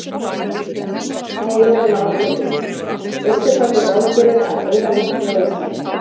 Heimir Már Pétursson: Veistu hvað þú ráðgerir að eyða miklu á Íslandi?